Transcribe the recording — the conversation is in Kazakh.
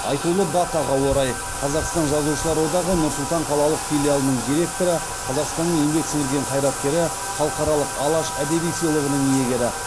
айтулы датаға орай қазақстан жазушылар одағы нұр сұлтан қалалық филиалының директоры қазақстанның еңбек сіңірген қайраткері халықаралық алаш әдеби сыйлығының иегері